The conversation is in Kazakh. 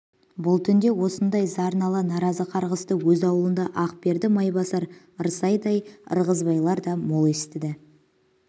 бұл түнде осындай зар нала наразы қарғысты өз аулында ақберді майбасар ырсайдай ырғызбайлар да мол естіді